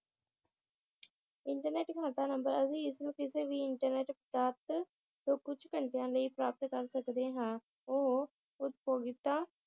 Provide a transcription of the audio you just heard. internet ਖਾਤਾ ਨੰਬਰ ਅਸੀ ਇਸ ਨੂੰ ਕਿਸੇ ਵੀ ਇਨਟਰਨੈਟ ਪ੍ਰਾਪਤ ਤੋਂ ਕੁਛ ਘੰਟਿਆਂ ਲਈ ਪ੍ਰਾਪਤ ਕਰ ਸਕਦੇ ਹਾਂ ਉਹ